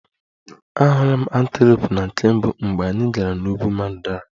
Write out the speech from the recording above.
Ahụla m antelope na nke mbụ mgbe anyị gara n'ugwu mandara